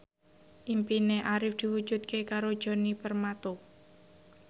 impine Arif diwujudke karo Djoni Permato